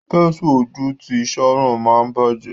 Pẹ́nsù ojú tí Sharon ma bajẹ.